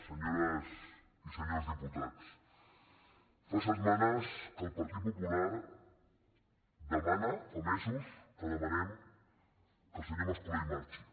senyores i senyors diputats fa setmanes que el partit popular demana fa mesos que demanem que el senyor mascolell marxi